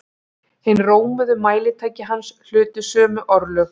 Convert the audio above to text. Hin rómuðu mælitæki hans hlutu sömu örlög.